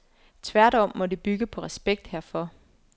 Tværtom må det bygge på respekt herfor.